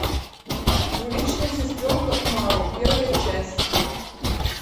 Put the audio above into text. двуличная сестренка умару первая часть